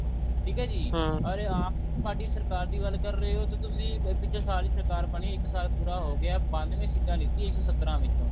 ਠੀਕ ਹੈ ਜੀ or ਆਪ ਪਾਰਟੀ ਸਰਕਾਰ ਦੀ ਗੱਲ ਕਰ ਰਹੇ ਹੋ ਤੇ ਤੁਸੀਂ ਪਿੱਛੇ ਸਾਰੀ ਸਰਕਾਰ ਬਣੀ ਸਾਰੀ ਸਰਕਾਰ ਇੱਕ ਸਾਲ ਪੂਰਾ ਹੋ ਗਿਆ ਬੰਨਵੇਂ ਸੀਟਾਂ ਲੀਤੀਆ ਇੱਕ ਸੋ ਸਤਰਾਂ ਵਿੱਚੋ